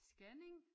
Scanning